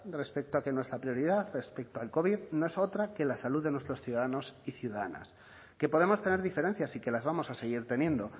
respecto a que nuestra prioridad respecto al covid no es otra que la salud de nuestros ciudadanos y ciudadanas que podemos tener diferencias y que las vamos a seguir teniendo